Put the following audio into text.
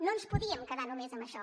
no ens podíem quedar només amb això